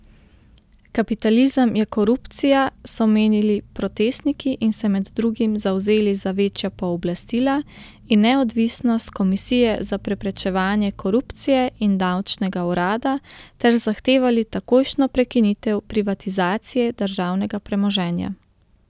Kapitalizem je korupcija, so menili protestniki in se med drugim zavzeli za večja pooblastila in neodvisnost Komisije za preprečevanje korupcije in davčnega urada ter zahtevali takojšnjo prekinitev privatizacije državnega premoženja.